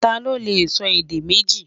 tá ló lẹ sọ èdè méjì?